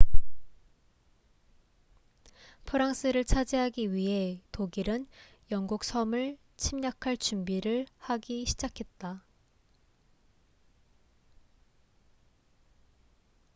프랑스를 차지하기 위해 독일은 영국 섬을 침략할 준비를 하기 시작했다